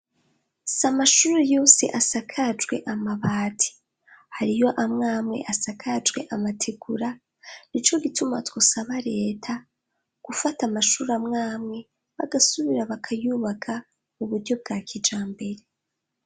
Si amashuru yuse asakajwe amabati hari yo amwamwe asakajwe amatigura ni co gituma twosaba reta gufata amashuru amwamwe bagasubira bakayubaka mu buryo bwa kija mbere.